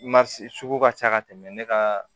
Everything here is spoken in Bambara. sugu ka ca ka tɛmɛ ne ka